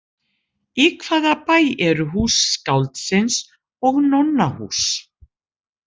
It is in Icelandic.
Í hvaða bæ eru Hús skáldsins og Nonnahús?